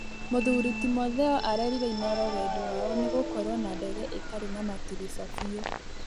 Muthũrĩ Timotheo arerĩre inooro Wendi wao nĩ gũkorwo na ndege ĩtarĩ na matĩrisha fĩũ